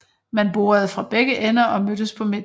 Man borede fra begge ender og mødtes på midten